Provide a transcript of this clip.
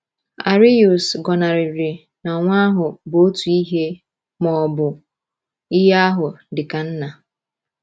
Arius gọnarịrị na Nwa ahụ bụ otu ihe ma ọ bụ ihe ahụ dị ka Nna.